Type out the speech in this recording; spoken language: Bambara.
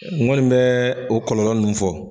Nkɔni bɛ o kɔlɔlɔ min fɔ.